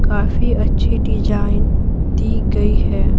काफी अच्छी डिजाइन दी गई है।